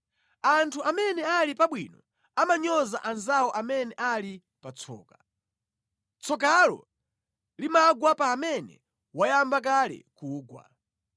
Anthu amene ali pabwino amanyoza anzawo amene ali pa tsoka. Tsokalo limagwa pa amene wayamba kale kugwa.